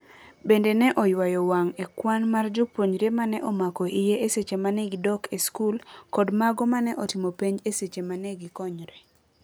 Bende ne oywayo wang' e kwan mar jopuonjre mane omako iye e seche mane gidok e skul kod mago mane otimo penj e seche manegi konyre.